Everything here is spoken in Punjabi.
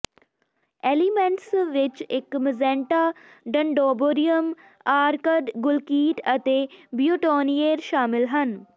ਐਲੀਮੈਂਟਸ ਵਿੱਚ ਇੱਕ ਮਜੈਂਟਾ ਡੰਡੋਬੋਰਿਅਮ ਆਰਕਡ ਗੁਲਕੀਟ ਅਤੇ ਬਿਊਟੋਨਿਏਰ ਸ਼ਾਮਲ ਹਨ